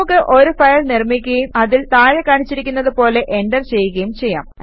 നമുക്ക് ഒരു ഫയൽ നിർമിക്കുകയും അതിൽ താഴെ കാണിച്ചിരിക്കുന്നത് പോലെ എന്റർ ചെയ്യുകയും ചെയ്യാം